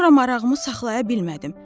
Sonra marağımı saxlaya bilmədim.